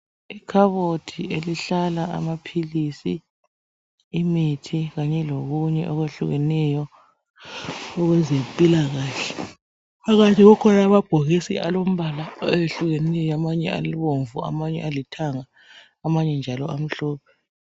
Ikhabothi elihlala amaphilisi imithi kanye lokunye okwehlukeneyo owezempilakahle. Phakathi kukhona amabhokisi alombala oyehlukeneyo amanye abomvu amanye alithanga amanye njalo amhlophe.